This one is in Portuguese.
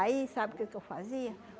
Aí, sabe o que que eu fazia?